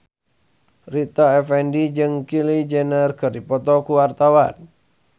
Rita Effendy jeung Kylie Jenner keur dipoto ku wartawan